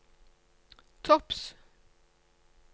topps